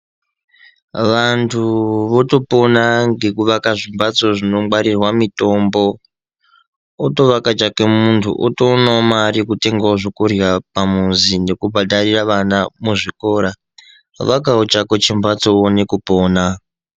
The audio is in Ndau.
Vantu votopona ngekuvaka zvimbatso zvinongwarirwa mitombo, otoake chake muntu otoonawo mare yetengawo zvekundwa pamuzi nekubhadharira ana muzvikora. Vakawo chako chimbatso uone kupona.